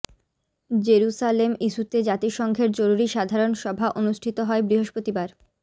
Jerusalem ইস্যুতে জাতিসংঘের জরুরি সাধারন সভা অনুষ্ঠিত হয় বৃহস্পতিবার